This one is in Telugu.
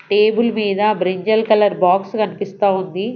టేబుల్ మీద బ్రింజాల్ కలర్ బాక్స్ కనిపిస్తా ఉంది.